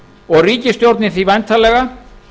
og ríkisstjórnin því væntanlega